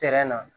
na